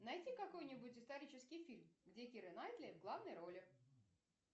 найди какой нибудь исторический фильм где кира найтли в главной роли